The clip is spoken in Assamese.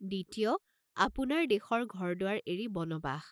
দ্বিতীয়, আপোন দেশৰ ঘৰ দুৱাৰ এৰি বনবাস।